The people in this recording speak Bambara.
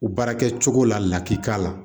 Baara kɛ cogo la laki k'a la